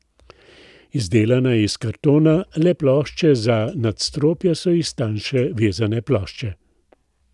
Izdelana je iz kartona, le plošče za nadstropja so iz tanjše vezane plošče.